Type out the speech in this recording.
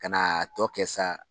Ka na tɔ kɛ sa